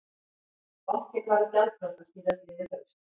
Bankinn varð gjaldþrota síðastliðið haust